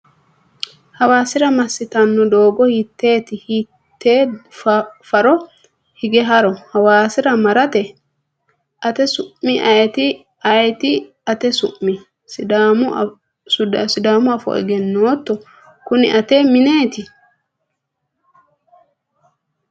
Hawasirra mastanoo doogo hiiteeti? Hiitee farro higee harro Hawasirra marrate? Ate su'mi ayeti? Ayeti ate su'mi? Sidaamuafo eggennoto? Kuni ate mineeti?